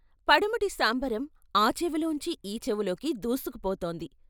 పడమటి శాంబరం ఆ చెవిలోంచి ఈ చెవిలోకి దూసుకుపోతోంది.